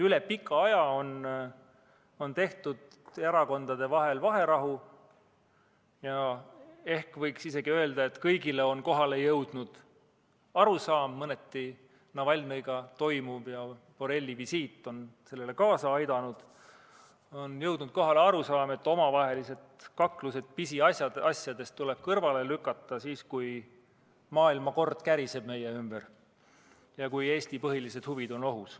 Üle pika aja on tehtud erakondade vahel vaherahu ja ehk võiks isegi öelda, et kõigile on kohale jõudnud arusaam – Navalnõiga toimuv ja Borrelli visiit on sellele mõneti kaasa aidanud –, et omavahelised kaklused pisiasjade üle tuleb kõrvale lükata, kui maailmakord käriseb meie ümber ja Eesti põhilised huvid on ohus.